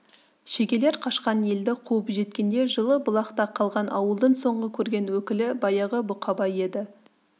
шегелер қашқан елді қуып жеткенде жылы бұлақта қалған ауылдың соңғы көрген өкілі баяғы бұқабай еді